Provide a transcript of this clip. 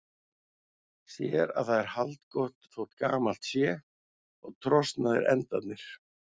Sér að það er haldgott þótt gamalt sé og trosnaðir endarnir.